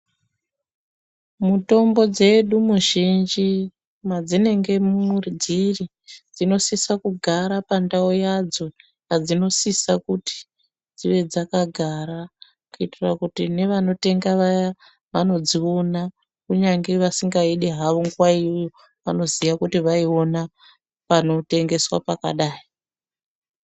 Mutombo dzedu muzhinji madzinenge dziri dzinosisa kugara pandau padzo yadzinosisa kuti dzive dzakagara kuitira kuti nevanotenga vaya vanodziona kunyange vasingaidi havo nguwaiyoyo vanoziya kuti vaiona panotengeswa pakada.